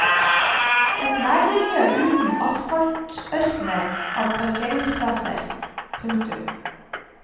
Et nærmiljø uten asfaltørkener av parkeringsplasser. punktum